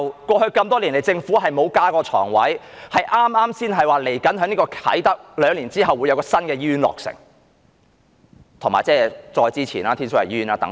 過去多年來，政府沒有增加床位，剛剛才宣布兩年後在啟德會有一間新醫院落成，以及早前宣布的天水圍醫院等。